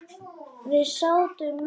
Við sátum með því.